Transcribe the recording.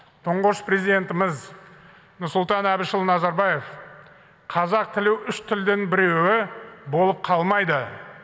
тұңғыш президентіміз нұрсұлтан әбішұлы назарбаев қазақ тілі үш тілдің біреуі болып қалмайды